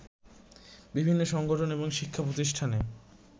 বিভিন্ন সংগঠন এবং শিক্ষাপ্রতিষ্ঠানে